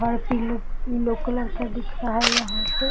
और पीले पीले कलर का दिख रहा यहां से।